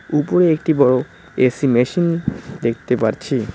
উপরে একটি বড়ো এ_সি মেশিন দেখতে পারছি।